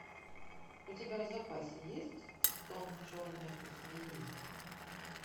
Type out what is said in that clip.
у тебя в запасе есть стон черной змеи